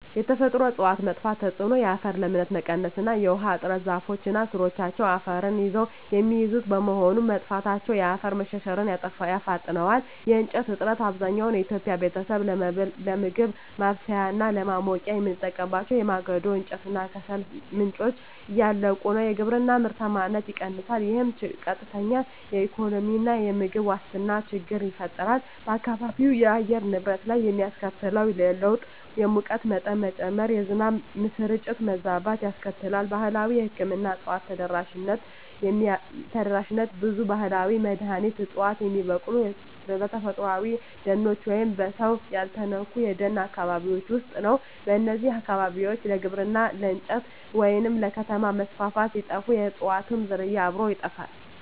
የተፈጥሮ እፅዋት መጥፋት ተጽዕኖ የአፈር ለምነት መቀነስ እና የውሃ እጥረ ዛፎች እና ሥሮቻቸው አፈርን ይዘው የሚይዙት በመሆኑ፣ መጥፋታቸው የአፈር መሸርሸርን ያፋጥነዋል። የእንጨት እጥረት፣ አብዛኛው የኢትዮጵያ ቤተሰብ ለምግብ ማብሰያ እና ለማሞቂያ የሚጠቀምባቸው የማገዶ እንጨት እና ከሰል ምንጮች እያለቁ ነው። የግብርና ምርታማነት ይቀንሳል፣ ይህም ቀጥተኛ የኢኮኖሚና የምግብ ዋስትና ችግር ይፈጥራል። በአካባቢው የአየር ንብረት ላይ የሚያስከትለው ለውጥ የሙቀት መጠን መጨመር፣ የዝናብ ስርጭት መዛባት ያስከትላል። ባህላዊ የሕክምና እፅዋት ተደራሽነት ብዙ ባህላዊ መድኃኒት ዕፅዋት የሚበቅሉት በተፈጥሮአዊ ደኖች ወይም በሰው ያልተነኩ የደን አካባቢዎች ውስጥ ነው። እነዚህ አካባቢዎች ለግብርና፣ ለእንጨት ወይም ለከተማ መስፋፋት ሲጠፉ፣ የእፅዋቱም ዝርያ አብሮ ይጠፋል።